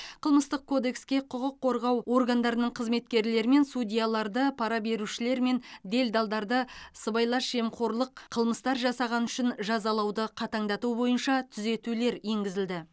қылмыстық кодекске құқық қорғау органдарының қызметкерлері мен судьяларды пара берушілер мен делдалдарды сыбайлас жемқорлық қылмыстар жасағаны үшін жазалауды қатаңдату бойынша түзетулер енгізілді